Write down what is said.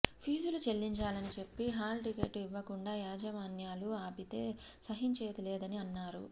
ఫీజులు చెల్లించాలని చెప్పి హాల్ టికెట్లు ఇవ్వకుండా యాజమాన్యాలు ఆపితే సహించేది లేదని అన్నారు